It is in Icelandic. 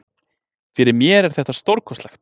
Fyrir mér er þetta stórkostlegt.